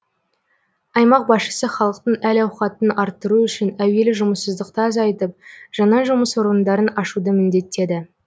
аймақ басшысы халықтың әл ауқатын арттыру үшін әуелі жұмыссыздықты азайтып жаңа жұмыс орындарын ашуды міндеттеді